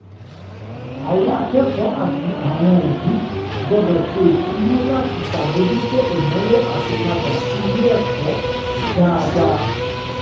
àwọn akẹ́kọ̀ọ́ àti àwọn òbí gbọdọ̀ se ìṣúná láti sàmójútó ìnàwó àtípàdà sí ilé-ẹ̀kọ́ dáadá